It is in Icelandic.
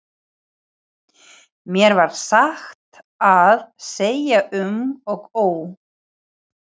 Mér varð satt að segja um og ó.